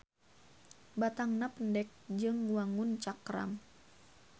Batangna pendek jeung wangun cakram.